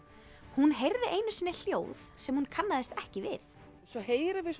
hún heyrði einu sinni hljóð sem hún kannaðist ekki við svo heyrum við